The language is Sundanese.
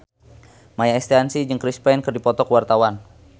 Maia Estianty jeung Chris Pane keur dipoto ku wartawan